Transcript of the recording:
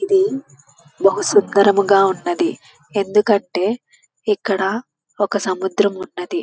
ఇది బహు సుకరముగా ఉన్నది ఎందుకంటే ఇక్కడ ఒక సముద్రం ఉన్నది.